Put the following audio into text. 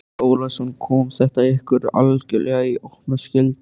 Andri Ólafsson: Kom þetta ykkur algjörlega í opna skjöldu?